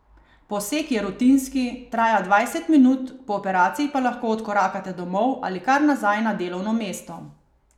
Poseg je rutinski, traja dvajset minut, po operaciji pa lahko odkorakate domov ali kar nazaj na delovno mesto.